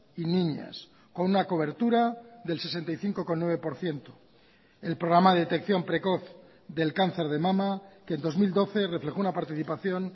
y niñas con una cobertura del sesenta y cinco coma nueve por ciento el programa de detección precoz del cáncer de mama que en dos mil doce reflejó una participación